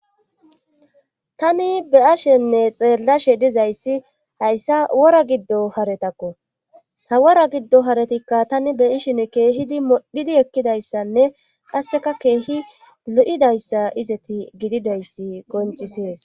tani be7ashenne xeellashe dizayssi hayssa wora giddo haretakko ha wora giddo haretikka tani be ishen keehidi modhidi ekkidayssanne qasseka keehi lo7idayssa izeti gididayssi qoncisees